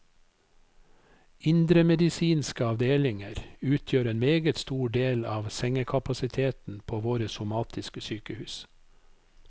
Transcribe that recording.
Indremedisinske avdelinger utgjør en meget stor del av sengekapasiteten på våre somatiske sykehus.